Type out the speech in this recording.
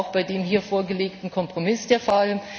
Das ist auch bei dem hier vorgelegten Kompromiss der Fall.